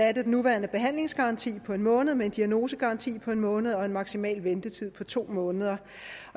at den nuværende behandlingsgaranti på en måned erstattes med en diagnosegaranti på en måned og en maksimal ventetid på to måneder